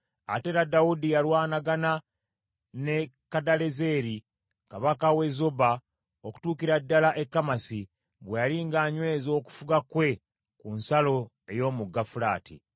Ate era Dawudi yalwanagana ne Kadalezeri kabaka w’e Zoba okutuukira ddala e Kamasi, bwe yali ng’anyweza okufuga kwe ku nsalo ey’Omugga Fulaati.